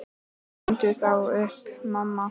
Sendu þá upp, mamma.